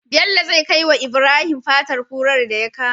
Bello zai kai wa ibrahim fatar kurar daya kama